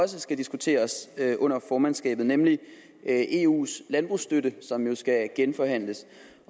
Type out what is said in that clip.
skal diskuteres under formandskabet nemlig eus landbrugsstøtte som jo skal genforhandles